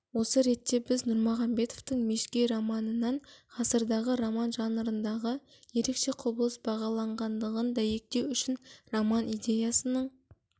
осы ретте біз нұрмағанбетовтың мешкей романынан ғасырдағы роман жанрындағы ерекше құбылыс бағаланғандығын дәйектеу үшін роман идеясының